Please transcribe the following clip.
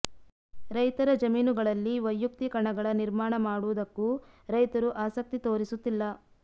ರೈತರ ಜಮೀನುಗಳಲ್ಲಿ ವೈಯುಕ್ತಿ ಕಣಗಳ ನಿರ್ಮಾಣ ಮಾಡುವುದಕ್ಕೂ ರೈತರು ಆಸಕ್ತಿ ತೋರಿಸುತ್ತಿಲ್ಲ